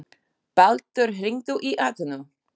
Baldur, hringdu í Atenu.